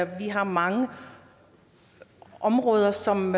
vi har mange områder som